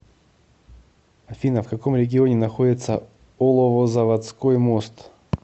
афина в каком регионе находится оловозаводской мост